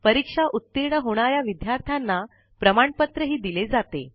परीक्षा उतीर्ण होणा या विद्यार्थ्यांना प्रमाणपत्रही दिले जाते